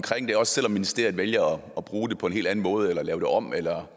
det også selv om ministeriet vælger at bruge det på en helt anden måde eller lave det om eller